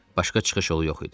Başqa çıxış yolu yox idi.